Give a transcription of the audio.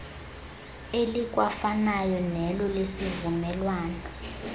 elikwafanayo nelo lesivumelwano